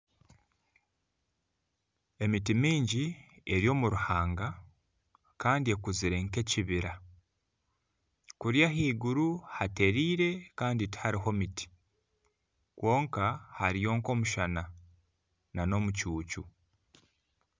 Emiti mingi eri omu ruhanga Kandi ekuzire nkekibira kuriya ahaiguru hatereire Kandi tihariho miti kwonka hariyo nomushana nana omucuucu